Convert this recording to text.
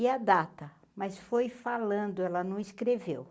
E a data, mas foi falando, ela não escreveu.